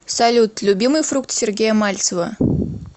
салют любимый фрукт сергея мальцева